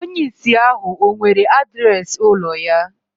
Onye ìsì ahu ọ̀ nwere adreesị ụlọ ya